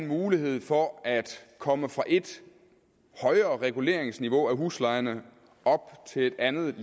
mulighed for at komme fra et reguleringsniveau af huslejerne op til et andet